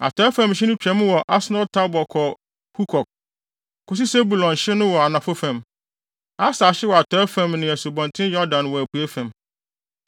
Atɔe fam hye no twam wɔ Asnot-Tabor kɔ Hukok, kosi Sebulon hye no wɔ anafo fam, Aser hye wɔ atɔe fam ne Asubɔnten Yordan wɔ apuei fam.